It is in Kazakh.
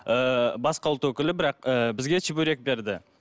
ы басқа ұлт өкілі бірақ ы бізге чебурек берді